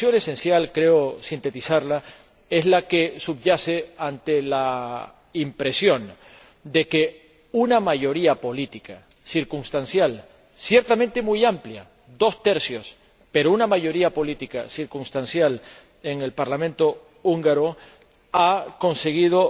preocupación esencial —creo sintetizarla— es la que subyace a la impresión de que una mayoría política circunstancial, ciertamente muy amplia —dos tercios—, pero una mayoría política circunstancial en el Parlamento húngaro ha conseguido